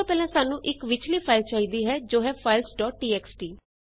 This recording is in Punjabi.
ਸਭ ਤੋਂ ਪਹਿਲਾਂ ਸਾਨੂੰ ਇਕ ਵਿੱਚਲੀ ਫਾਈਲ ਚਾਹੀਦੀ ਹੈ ਜੋ ਹੈ ਫਾਈਲਜ਼ ਡੋਟ txt